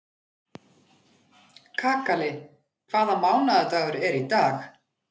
Kakali, hvaða mánaðardagur er í dag?